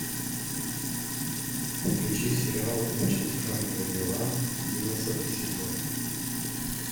включи сериал очень странные дела одиннадцатый сезон